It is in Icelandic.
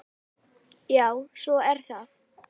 Já, svo er það.